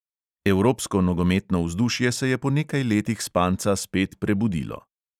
Evropsko nogometno vzdušje se je po nekaj letih spanca spet prebudilo.